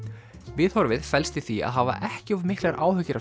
viðhorfið felst í því að hafa ekki of miklar áhyggjur af